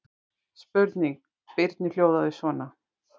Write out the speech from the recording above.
Spurning Birnu hljóðaði svona: